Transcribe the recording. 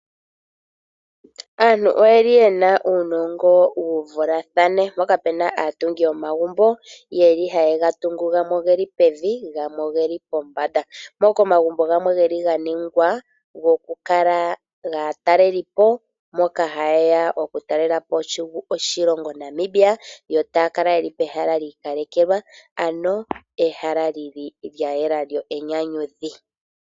Aantu oye li ye na uunongo wu vulathane, mpoka pu na aatungi yomagumbo ye li haye ga tungu gamwe oge li pevi gamwe oge li pombanda. Moka omagumbo gamwe ga ningwa gokukala aatalelipo mboka haye ya okutalela po oshilongo Namibia yo taya kala ye li pehala lyi ikalekelwa, ano ehala li li lya yela lyo enyanyudhi.